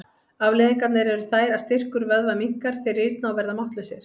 Afleiðingarnar eru þær að styrkur vöðva minnkar, þeir rýrna og verða máttlausir.